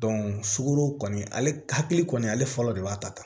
sukoro kɔni ale hakili kɔni ale fɔlɔ de b'a ta ta